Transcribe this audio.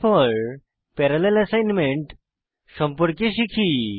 এরপর parallel assignment সম্পর্কে শিখি